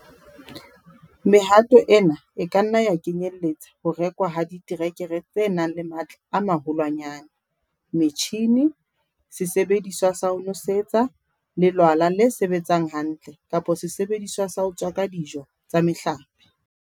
Mehato ena e ka nna ya kenyelletsa ho rekwa ha diterekere tse nang le matla a maholwanyane, metjhine, sesebediswa sa ho nosetsa, lelwala le sebetsang hantle kapa sesebediswa sa ho tswaka dijo tsa mehlape.